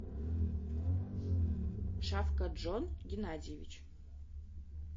шавкатджон геннадьевич